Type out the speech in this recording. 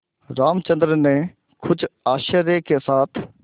रामचंद्र ने कुछ आश्चर्य के साथ